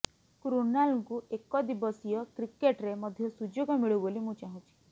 କ୍ରୁନାଲଙ୍କୁ ଏକଦିବସୀୟ କ୍ରିକେଟ୍ରେ ମଧ୍ୟ ସୁଯୋଗ ମିଳୁ ବୋଲି ମୁଁ ଚାହୁଁଛି